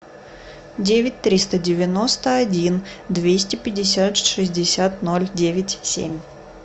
девять триста девяносто один двести пятьдесят шестьдесят ноль девять семь